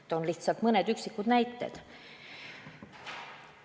Toon lihtsalt mõne üksiku näite.